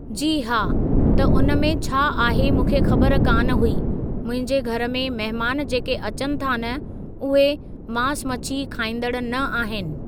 जी हा, त उन में छा आहे मूंखे ख़बर कान हुई मुंहिंजे घरु में मेहमान जेके अचनि था न उहे मास मछी खाईंदण न आहिनि।